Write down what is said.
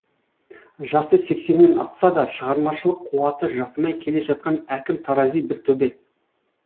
жасы сексеннен асса да шығармашылық қуаты жасымай келе жатқан әкім тарази бір төбе